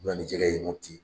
u bɛ na ni jɛgɛ ye Mɔputi.